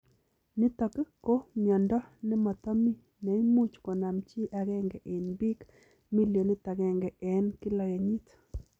Nitok ko miondoo nematami neimuch konam chii agenge eng piik milionit agenge eng kila kenyit.